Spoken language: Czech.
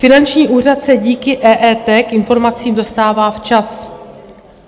Finanční úřad se díky EET k informacím dostává včas.